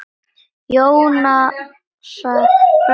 Jónasar frá Hriflu.